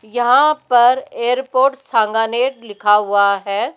यहां पर एयरपोर्ट सांगानेर लिखा हुआ है।